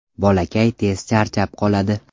Bolakay tez charchab qoladi.